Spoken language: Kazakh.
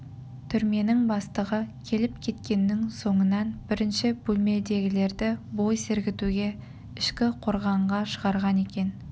түрменің бастығы келіп кеткеннің соңынан бірінші бөлмедегілерді бой сергітуге ішкі қорғанға шығарған екен